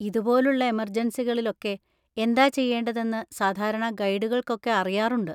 ഇതുപോലുള്ള എമെർജൻസികളിലൊക്കെ എന്താ ചെയ്യേണ്ടതെന്ന് സാധാരണ ഗൈഡുകൾക്കൊക്കെ അറിയാറുണ്ട്.